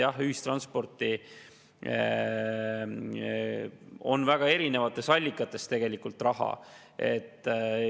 Jah, ühistransporti tegelikult raha väga erinevatest allikatest.